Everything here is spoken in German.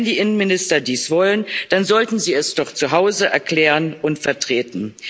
Wenn die Innenminister dies wollen, dann sollten sie es doch zu Hause erklären und vertreten.